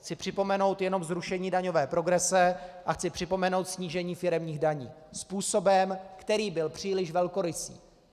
Chci připomenout jenom zrušení daňové progrese a chci připomenout snížení firemních daní způsobem, který byl příliš velkorysý.